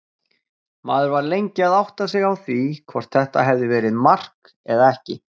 Maður var lengi að átta sig á því hvort þetta hafi verið mark eða ekki.